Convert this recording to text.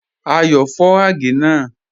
Ayọ́ fọ̀ àgẹ̀ náà.